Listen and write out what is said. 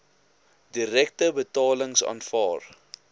direkte betalings aanvaar